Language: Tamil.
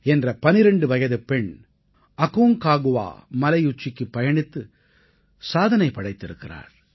என்ற 12 வயதுப் பெண் அக்கான்காகுவா மலையுச்சிக்குப் பயணித்து சாதனை படைத்திருக்கிறாள்